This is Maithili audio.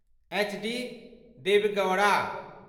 एचडी देवगौड़ा